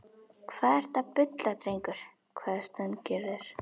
Hvað ertu að bulla drengur? hváði Steingerður.